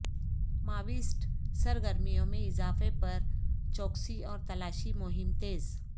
Maoist سرگرمیوں میں اضافہ پر چوکسی اور تلاشی مہم تیز